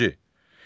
İkinci.